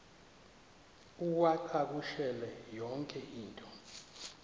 uwacakushele yonke into